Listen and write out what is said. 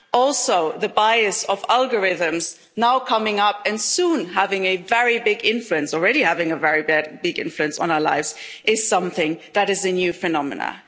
Also the bias of algorithms now coming up and soon having a very big influence already having a very big, bad influence on our lives is something that is a new phenomenon.